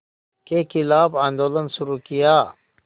के ख़िलाफ़ आंदोलन शुरू किया